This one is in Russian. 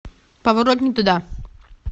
поворот не туда